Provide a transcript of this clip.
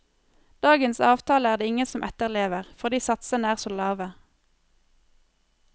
Dagens avtale er det ingen som etterlever, fordi satsene er så lave.